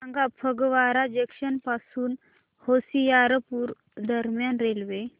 सांगा फगवारा जंक्शन पासून होशियारपुर दरम्यान रेल्वे